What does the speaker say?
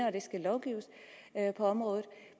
at der skal lovgives på området